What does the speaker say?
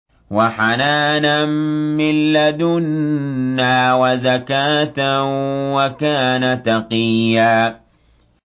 وَحَنَانًا مِّن لَّدُنَّا وَزَكَاةً ۖ وَكَانَ تَقِيًّا